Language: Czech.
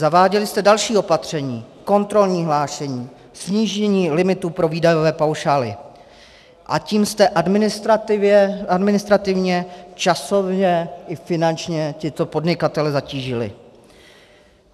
Zaváděli jste další opatření, kontrolní hlášení, snížení limitu pro výdajové paušály, a tím jste administrativně, časově i finančně tyto podnikatele zatížili.